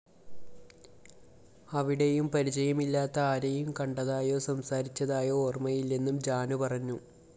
അവിടെയും പരിചയമില്ലാത്ത ആരെയും കണ്ടതായോ സംസാരിച്ചതായോ ഓര്‍മ്മയില്ലെന്നും ജാനു പറഞ്ഞു